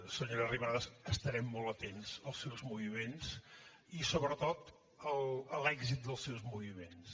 senyora arrimadas estarem molt atents als seus moviments i sobretot a l’èxit dels seus moviments